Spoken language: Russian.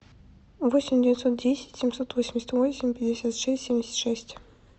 восемь девятьсот десять семьсот восемьдесят восемь пятьдесят шесть семьдесят шесть